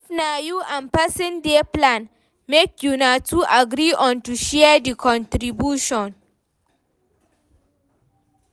If na you and person dey plan, make una two agree on to share di contribution